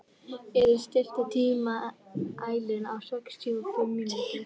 Iðunn, stilltu tímamælinn á sextíu og fimm mínútur.